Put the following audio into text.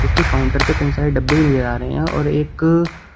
उसके काउंटर पे कई सारे डब्बे भी नजर आ रहे और एक--